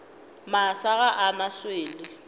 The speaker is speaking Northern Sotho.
masa ga a na swele